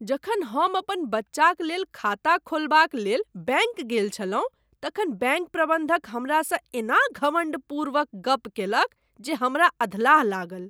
जखन हम अपन बच्चाक लेल खाता खोलबाक लेल बैंक गेल छलहुँ तखन बैंक प्रबंधक हमरासँ एना घमंडपूर्वक गप्प कयलक जे हमराअधलाह लागल ।